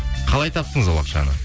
қалай таптыңыз ол ақшаны